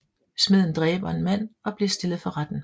Smeden dræber en mand og bliver stillet for retten